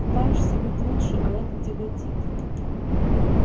пытаешься быть лучше а это тяготит